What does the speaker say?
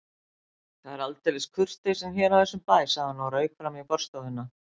Það er aldeilis kurteisin hér á þessum bæ sagði hann og rauk fram í forstofuna.